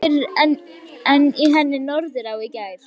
Ekki fyrr en í henni Norðurá í gær.